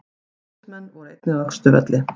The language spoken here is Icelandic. Slökkviliðsmenn voru einnig á Austurvelli